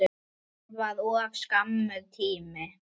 Það var of skammur tími.